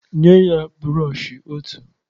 Nye ya brọshọ ọtu